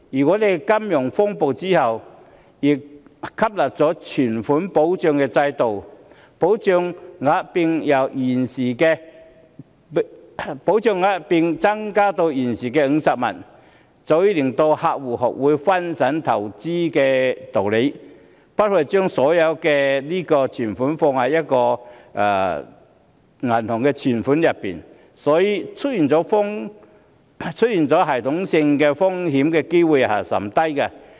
我們在金融風暴後引入了存款保障制度，保障額並增至現時的50萬元，早已令客戶學會分散投資風險的道理，不會把所有的雞蛋放在同一個銀行戶口內，所以，出現系統性風險的機會率甚低。